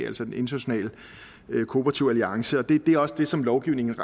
altså den internationale kooperative alliance og det er også det som lovgivningen